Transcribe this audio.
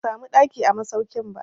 Ban samu ɗaki a masaukin ba.